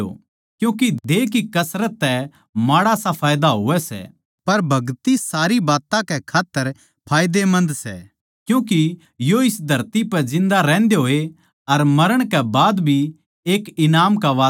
क्यूँके देह की कसरत तै माड़ा सा फैयदा होवै सै पर भगति सारी बात्तां कै खात्तर फैयदेमन्द सै क्यूँके यो इस धरती पै जिन्दा रहन्दे होए अर मरण कै बाद भी एक ईनाम का वादा सै